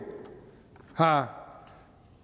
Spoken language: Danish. har